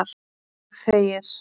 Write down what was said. Og þegir.